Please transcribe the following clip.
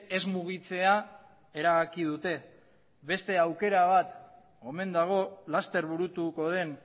ez mugitzea erabaki dute beste aukera bat omen dago laster burutuko den